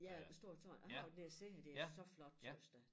Ja æ store tårn jeg har været nede og se det er så flot tøs da